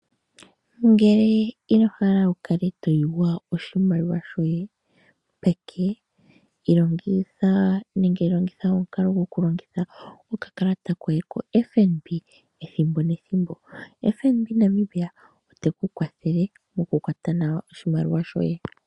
Ngele inohala wukale to yugwa oshimaliwa shoye peke longitha omukalo gwo ku longitha okakalata koye fnd Namibia teku kwathele moku kwata nawa oshimaliwa shoye.